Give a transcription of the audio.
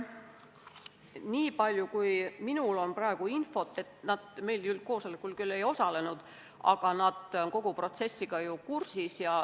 Niipalju kui minul on praegu infot, siis nad meie koosolekul küll ei osalenud, aga on kogu protsessiga kursis.